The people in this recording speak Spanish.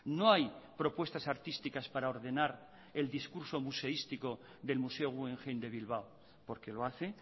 no hay propuestas artísticas para ordenar el discurso museístico del museo guggenheim de bilbao porque lo hace